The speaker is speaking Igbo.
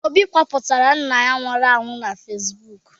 Obi gbapụtara nna ya nwụrụ anwụ na Fesibuuku.